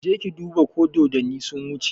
Je ka duba ko dodanni sun wuce!